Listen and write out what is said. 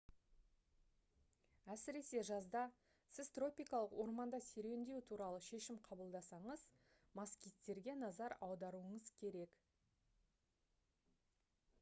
әсіресе жазда сіз тропикалық орманда серуендеу туралы шешім қабылдасаңыз москиттерге назар аударуыңыз керек